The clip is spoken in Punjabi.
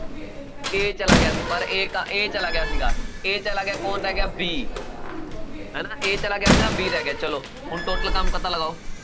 a ਚਲਾ ਗਿਆ ਸੀ ਪਰ a ਕਾ~ a ਚਲਾ ਗਿਆ ਸੀਗਾ a ਚਲਾ ਗਿਆ ਕੌਣ ਰਹਿ ਗਿਆ b ਹਨਾ a ਚਲਾ ਗਿਆ ਸੀ ਨਾ b ਰਹਿ ਗਿਆ, ਚਲੋ ਹੁਣ total ਕੰਮ ਪਤਾ ਲਗਾਓ